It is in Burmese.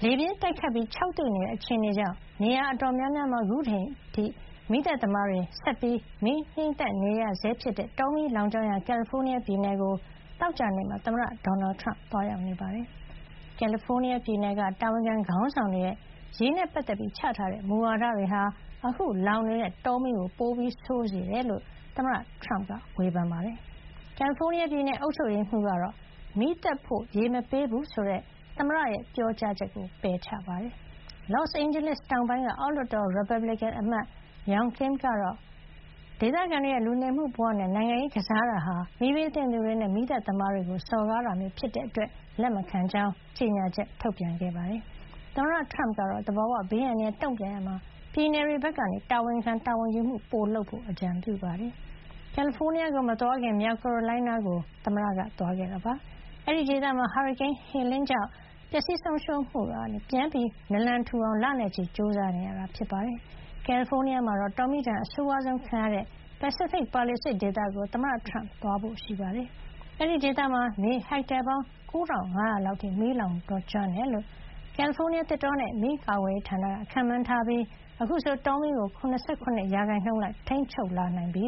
ေပြင်းတိုက်ခတ်ပြီး ခြောက်သွေ့တဲ့ အခြေအနေကြောင့် နေရာ အတော်များများမှာ အခုအချိန်ထိ မီးသတ်သမားတွေ ဆက်လက် ငြှိမ်းသတ်နေရဆဲဖြစ်တဲ့ တောမီးလောင်ကျွမ်းရာ ကယ်လီဖိုးနီးယားပြည်နယ်ကို သောကြာနေ့မှာ သမ္မတဒေါ်နယ်ထရမ့် သွားရောက် နေပါတယ်။ ကယ်လီဖိုးနီးယား ပြည်နယ်က တာဝန်ခံ ခေါင်းဆောင်တွေရဲ့ ရေနဲ့ ပတ်သက်ပြီး ချထားတဲ့ မူဝါဒတွေဟာ အခု လောင်နေတဲ့ တောမီးကို ပိုဆိုးစေတယ်လို့ သမ္မတထရမ့်က ဝေဖန်ပါတယ်။ ကယ်လီဖိုးနီးယားပြည်နယ် အုပ်ချုပ်ရေးမှုးကတော့ မီးသတ်ဖို့ ရေမပေးဘူးဆိုတဲ့ သမ္မတရဲ့ ပြောကြားချက်ကို ပယ်ချပါတယ်။ Los Angeles တောင်ပိုင်း က အောက်လွှတ်တော် ရီပတ်ဘလစ်ကင်အမတ် Young Kim ကတော့ ဒေသခံတွေရဲ့ လူနေမှု ဘဝနဲ့ နိုင်ငံရေးကစားတာဟာ မီးဘေးသင့်သူတွေနဲ့ မီးသတ်သမားတွေကို စော်ကားတာမျိုး ဖြစ်တဲ့အတွက် လက်မခံကြောင်း ကြေညာချက် ထုတ်ပြန်ခဲ့ပါတယ်။ သမ္မတထရမ့်ကတော့ သဘာဝဘေး အန္တရာယ် တုံ့ပြန်ရာမှာ ပြည်နယ်တွေဘက်က တာဝန်ခံတာဝန်ယူမှု ပို လုပ်ကြဖို့ အကြံပြုပါတယ်။ ကယ်လီဖိုးနီးယားကို မသွားခင် မြောက်ကာရိုလိုင်းနားကို သွားရောက်ခဲ့တာပါ။ အဲဒီဒေသမှာ ဟာရီကိန်း Helene ကြောင့် ပျက်စီးဆုံးရှုံးမှုကနေ ပြန်နလံထူအောင် လနဲ့ချီ ကြိုးစားနေရတာ ဖြစ်ပါတယ်။ ကယ်လီဖိုးနီးယားမှာ တောမီးဒဏ် အဆိုးဝါးဆုံးခံရတဲ့ Pacific Palisades ဒေသကို သမ္မတထရမ့် သွားရောက်ဖို့ရှိပါတယ်။ အဲဒီဒေသမှာ မြေဟက်တာ ပေါင်း ၉၅၀၀ လောက် အထိ မီးလောင်ကျွမ်းခဲ့တယ်လို့ ကယ်လီဖိုးနီးယား သစ်တောနဲ့ မီးကာကွယ်ရေးဌာနက ခန့်မှန်းထားပြီး အခုဆို တောမီးကို ၇၇ % လောက် ထိန်းချုပ်လာနိုင်ပြီ